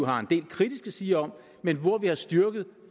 har en del kritisk at sige om men hvor vi har styrket